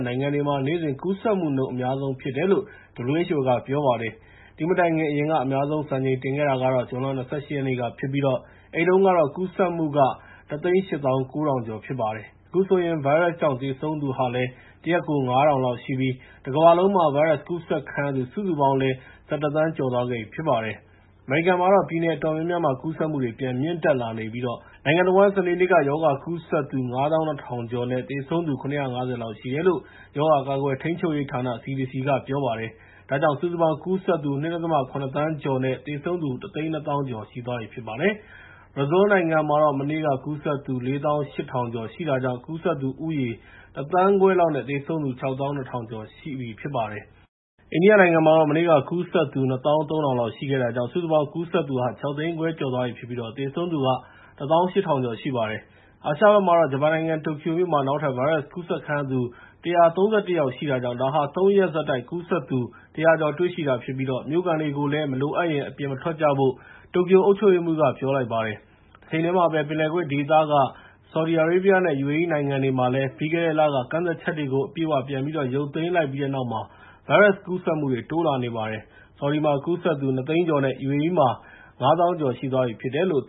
နိုင်ငံတွေဟာ နေ့စဉ်ကူးစက်မှုနှုန်း အများဆုံးဖြစ်တယ်လို့ WHO က ပြောပါတယ်။ ဒီမတိုင်ခင် အရင်က အများဆုံး စံချိန်တင်ခဲ့တာကတော့ ဇွန် ၂၈ ရက်နေ့ကဖြစ်ပြီး အဲဒီတုန်းက ကူးစက်မှုက ၁၈၉,၀၀၀ ကျော်ဖြစ်ပါတယ်။ အခုဆိုရင် ဗိုင်းရပ်စ်ကြောင့် သေဆုံးသူဟာလည်း တရက်ကို ၅,၀၀၀ လောက်ရှိပြီး တကမ္ဘာလုံးမှာ ဗိုင်းရပ်စ်ကူးစက်ခံရသူ စုစုပေါင်းလည်း ၁၁ သန်းကျော်သွားခဲ့ပြီ ဖြစ်ပါတယ်။ အမေရိကန်မှာတော့ ပြည်နယ်အတော်များများမှာ ကူးစက်မှုတွေ ပြန်မြင့်တက်လာနေပြီး နိုင်ငံတဝန်း စနေနေ့က ရောဂါကူးစက်သူ ၅၂,၀၀၀ ကျော်နဲ့ သေဆုံးသူ ၇၅၀ လောက်ရှိတယ်လို့ ရောဂါကာကွယ်ထိန်းချုပ်ရေးဌာန က ပြောပါတယ်။ ဒါကြောင့် စုစုပေါင်း ကူးစက်သူ ၂.၇ သန်းကျော်နဲ့ သေဆုံးသူ ၁၂၀,၀၀၀ ကျော်ရှိပါတယ်။ ဘရာဇီးနိုင်ငံမှာတော့ မနေ့က ကူးစက်သူ ၄၈,၀၀၀ ကျော်ရှိတာကြောင့် ကူးစက်သူဦးရေ ၁ သန်းခွဲလောက်နဲ့ သေဆုံးသူ ၆၂,၀၀၀ လောက်ရှိပါတယ်။ အိန္ဒိယမှာတော့ မနေ့က ကူးစက်သူ ၂၃,၀၀၀ လောက်ရှိခဲ့တာကြောင့် ကူးစက်ခံရသူ ၆ သိန်းခွဲကျော်သွားပြီဖြစ်ပြီး သေဆုံးသူက ၁၈,၀၀၀ ကျော်ရှိပါတယ်။ အာရှဘက်မှာတော့ ဂျပန်နိုင်ငံ တိုကျိုမြို့မှာ နောက်ထပ် ဗိုင်းရပ်စ်ကူးစက်ခံရသူ ၁၃၁ ယောက်ရှိတာကြောင့် ဒါဟာ ၃ ရက်ဆက်တိုက် ကူးစက်သူ ၁၀၀ ကျော် တွေ့ရှိတာဖြစ်ပြီး မြို့ခံတွေကိုလည်း မလိုအပ်ရင် အပြင်မထွက်ကြဖို့ တိုကျိုအုပ်ချုပ်ရေးမှူးက ပြောလိုက်ပါတယ်။ တချိန်တည်းမှာပဲ ပင်လယ်ကွေ့ဒေသက ဆော်ဒီနဲ့ UAE နိုင်ငံတွေမှာလည်း ပြီးခဲ့တဲ့လက ကန့်သတ်ချက်တွေကို အပြည့်အ၀ ပြန်ရုပ်သိမ်းလိုက်ပြီးတဲ့နောက် ဗိုင်းရပ်စ်ကူးစက်မှုတွေ တိုးလာနေပါတယ်။ ဆော်ဒီမှာ ကူးစက်သူ ၂၀၀,၀၀၀ ကျော်နဲ့ UAE မှာ ၅၀,၀၀၀ ကျော်သွားပြီ ဖြစ်ပါတယ်။